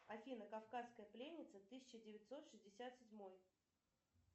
афина кавказская пленница тысяча девятьсот шестьдесят седьмой